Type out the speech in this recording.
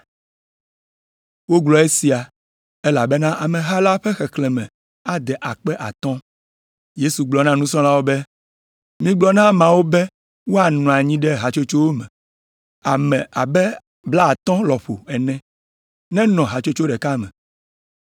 (Wogblɔ esia, elabena ameha la ƒe xexlẽme ade akpe atɔ̃.) Yesu gblɔ na nusrɔ̃lawo be, “Migblɔ na ameawo be woanɔ anyi ɖe hatsotsowo me; ame abe blaatɔ̃ lɔƒo ene nenɔ hatsotso ɖeka me”